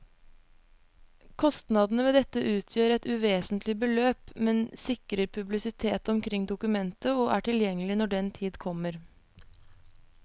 Kostnadene ved dette utgjør et uvesentlig beløp, men sikrer publisitet omkring dokumentet og er tilgjengelig når den tid kommer.